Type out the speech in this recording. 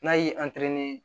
N'a y'i